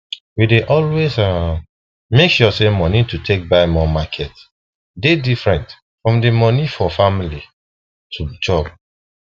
we dey always um make sure say moni to take buy more market dey different from the moni for family to chop